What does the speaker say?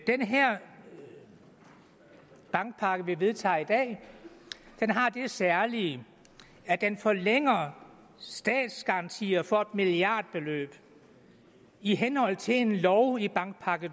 den her bankpakke som vi vedtager i dag har det særlige at den forlænger statsgarantier for et milliardbeløb i henhold til en lov i bankpakke